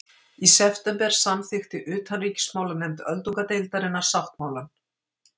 Í september samþykkti utanríkismálanefnd öldungadeildarinnar sáttmálann